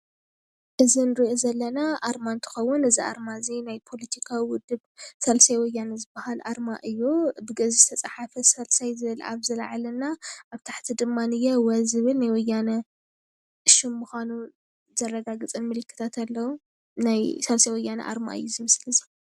እዚ እንሪኦ ዘለና አርማ እንትክዉን እዚ አርማ እዚ ናይ ፓለቲካዊ ወድብ ሳልሳይ ወያነ ዝበሃል አርማ እዩ፡፡ ብግእዝ ዝተፃሕፈ ሳልሳይ ዝብል አብዚ ላዕሊና አብዚ ታሕቲ ድማኒየ ወ ዝብል ናይ ወያነ ሽም ምዃኑ ዘረጋግፀ ምልክታት አለዉ ናይ ሳልሳይ ወያነ አርማ እዩ እዚ ምስሊ እዚ፡፡